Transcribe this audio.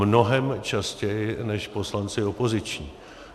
Mnohem častěji než poslanci opoziční.